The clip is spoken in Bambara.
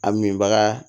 A min baga